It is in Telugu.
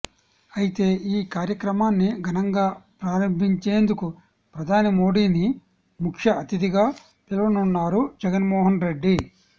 అయితే ఈ కార్యక్రమాన్ని ఘనంగా ప్రారంభించేందుకు ప్రధాని మోడీని ముఖ్య అతిధిగా పిలవనున్నారు జగన్మోహన్ రెడ్డి